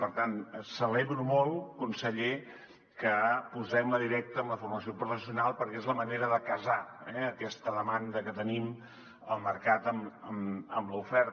per tant celebro molt conseller que posem la directa en la formació professional perquè és la manera de casar aquesta demanda que tenim al mercat amb l’oferta